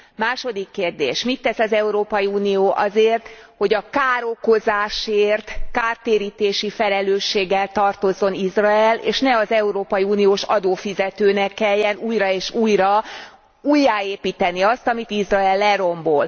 Második kérdés mit tesz az Európai Unió azért, hogy a károkozásért kártérítési felelősséggel tartozzon Izrael, és ne az európai uniós adófizetőnek kelljen újra és újra újjáépítenie azt, amit Izrael lerombol?